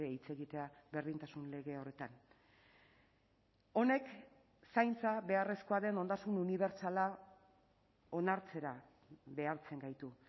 hitz egitea berdintasun lege horretan honek zaintza beharrezkoa den ondasun unibertsala onartzera behartzen gaitu